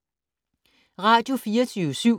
Radio24syv